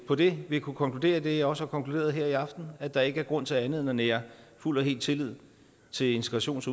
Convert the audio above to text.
på det vil kunne konkludere det jeg også har konkluderet her i aften at der ikke er grund til andet end at nære fuld og hel tillid til integrations